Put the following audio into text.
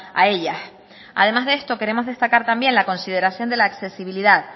a ellas además de esto queremos destacar también la consideración de la accesibilidad